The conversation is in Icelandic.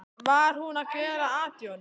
Var hún að gera at í honum?